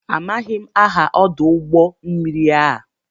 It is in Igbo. Amaghị m aha ọdụ ụgbọ mmiri a.